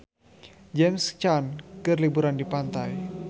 James Caan keur liburan di pantai